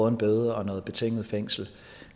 en bøde og noget betinget fængsel